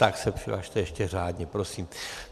Tak se přihlaste ještě řádně, prosím.